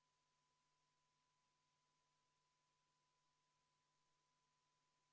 Saame minna juhtivkomisjoni ettepaneku juurde eelnõu 340 esimesel lugemisel tagasi lükata.